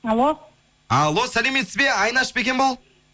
алло алло сәлеметсіз бе айнаш па екен бұл